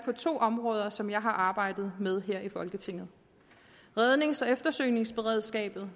to områder som jeg har arbejdet med her i folketinget rednings og eftersøgningsberedskabet